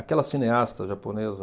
Aquela cineasta japonesa...